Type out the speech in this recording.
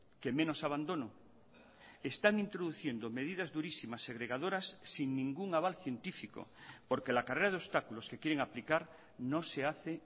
que menos abandono están introduciendo medidas durísimas segregadoras sin ningún aval científico porque la carrera de obstáculos que quieren aplicar no se hace